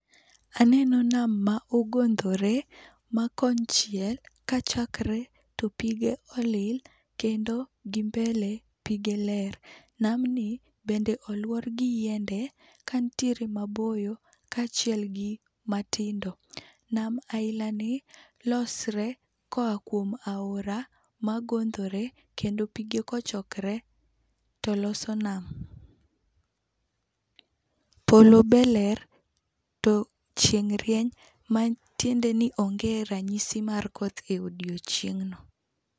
Aneno nam ma ogondhore ma kon chiel kachakre to pige olil kendo gimbele pige ler. Nam be olwor gi yiende ka nitie maboyo kaachiel gi matindo. Nam aina ni losre ka oa kuom aora ma gondhore kendo pige kochokre to loso nam. polo be ler to chieng' rieny ma tiende ni onge rang'isi mar koth odiechingno.